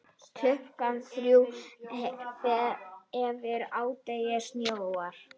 Klukkan þrjú eftir hádegi snjóar.